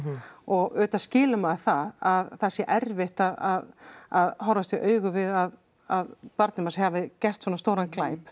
og auðvitað skilur maður það að það sé erfitt að að horfast í augu við að að barnið manns hafi gert svona stóran glæp